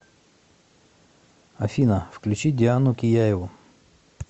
афина включи диану кияеву